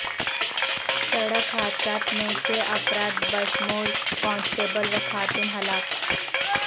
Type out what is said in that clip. سڑک حادثات میں چھ افراد بشمول کانسٹیبل و خاتون ہلاک